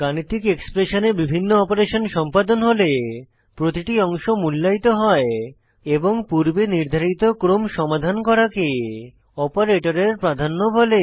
গাণিতিক এক্সপ্রেশনে বিভিন্ন অপারেশন সম্পাদন হলে প্রতিটি অংশ মুল্যায়িত হয় এবং পূর্বে নির্ধারিত ক্রম সমাধান করাকে অপারেটরের প্রাধান্য বলে